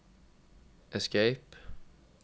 escape